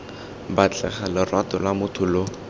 batlega lorato lwa motho lo